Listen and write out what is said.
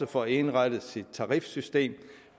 får indrettet sit tarifsystem